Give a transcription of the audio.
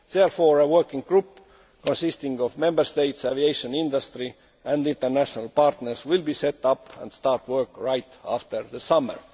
is met. Therefore, a working group consisting of Member States, the aviation industry and international partners will be set up and will start work right after the